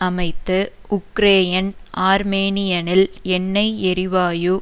அமைத்து உக்ரேயன் ஆர்மேனியனில் எண்ணை எரிவாயு